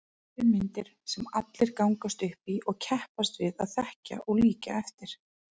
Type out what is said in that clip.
Fyrirmyndir sem allir gangast upp í og keppast við að þekkja og líkja eftir.